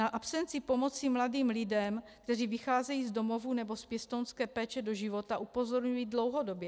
Na absenci pomoci mladým lidem, kteří vycházejí z domovů nebo z pěstounské péče do života, upozorňuji dlouhodobě.